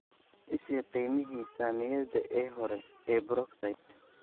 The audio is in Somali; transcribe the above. i sii qiimihii saamiyada ee hore ee Brookside